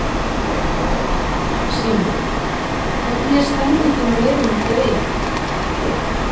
Símon: Hvernig er stemningin á leiðinni til eyja?